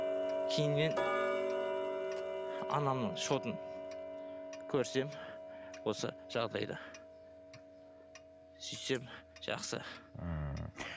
кейіннен анамның счетын көрсем осы жағдайда сөйтсем жақсы ммм